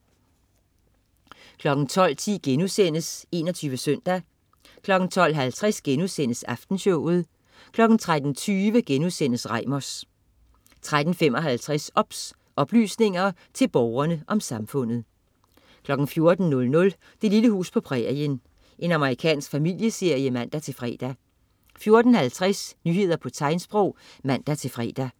12.10 21 Søndag* 12.50 Aftenshowet* 13.20 Reimers* 13.55 OBS. Oplysninger til Borgerne om Samfundet 14.00 Det lille hus på prærien. Amerikansk familieserie (man-fre) 14.50 Nyheder på tegnsprog (man-fre)